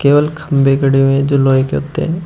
खंबे खड़े हुए हैं जो लोहे के होते हैं।